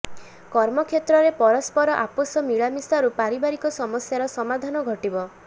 କର୍ମକ୍ଷେତ୍ରରେ ପରସ୍ପର ଆପୋଷ ମିଳାମିଶାରୁ ପାରିବାରିିକ ସମସ୍ୟାର ସମାଧାନ ଘଟିବ